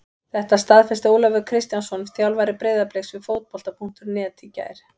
Þetta staðfesti Ólafur Kristjánsson þjálfari Breiðabliks við Fótbolta.net í gær.